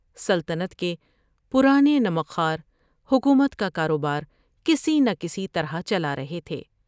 سلطنت کے پرانے نمک خوار حکومت کا کاروبارکسی نہ کسی طرح چلا رہے تھے ۔